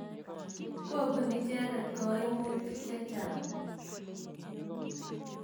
Kopun icheket kaimutik che chang'.